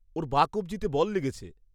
ওর বাঁ কবজিতে বল লেগেছে।